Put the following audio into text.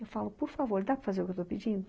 Eu falo, por favor, dá para fazer o que eu estou pedindo?